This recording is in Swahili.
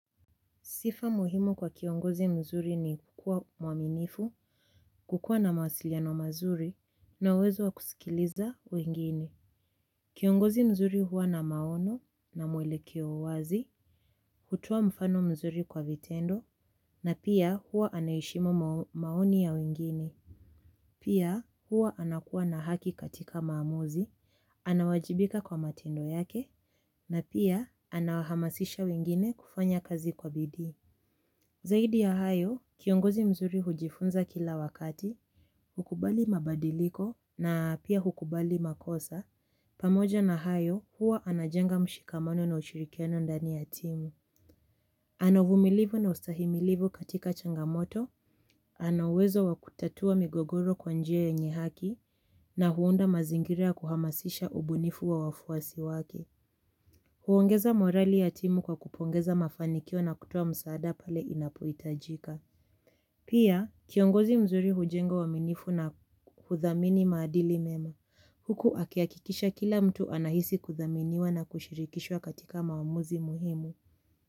Sifa muhimu kwa kiongozi mzuri ni kukuwa muaminifu, kukuwa na mawasiliano mazuri, na uwezo wa kusikiliza wengine. Kiongozi mzuri huwa na maono na mwelekeo wazi, hutoa mfano mzuri kwa vitendo, na pia huwa anaheshimu maoni ya wengine. Pia huwa anakuwa na haki katika maamuzi, anawajibika kwa matendo yake, na pia anahamasisha wengine kufanya kazi kwa bidii. Zaidi ya hayo, kiongozi mzuri hujifunza kila wakati, hukubali mabadiliko na pia hukubali makosa, pamoja na hayo huwa anajenga mshikamano na ushirikiano ndani ya timu. Ana uvumilivu na ustahimilivu katika changamoto, ana uwezo wa kutatua migogoro kwa njia yenye haki na huunda mazingira kuhamasisha ubunifu wa wafuasi wake. Huongeza morali ya timu kwa kupongeza mafanikio na kutoa msaada pale inapohitajika. Pia, kiongozi mzuri hujenga uaminifu na kuthamini maadili mema. Huku akihakikisha kila mtu anahisi kuthaminiwa na kushirikishwa katika maamuzi muhimu.